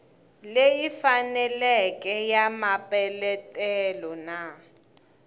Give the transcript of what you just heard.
leyi faneleke ya mapeletelo na